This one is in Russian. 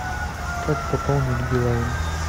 как пополнить билайн